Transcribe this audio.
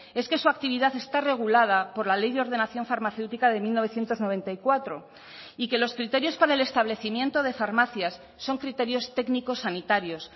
es que su actividad está regulada por la ley de ordenación farmacéutica de mil novecientos noventa y cuatro y que los criterios para el establecimiento de farmacias son criterios técnicos sanitarios